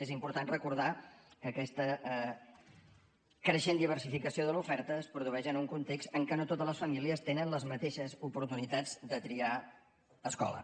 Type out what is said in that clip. és important recordar que aquesta creixent diversificació de l’oferta es produeix en un context en què no totes les famílies tenen les mateixes oportunitats de triar escola